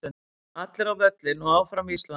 Allir á völlinn og Áfram Ísland.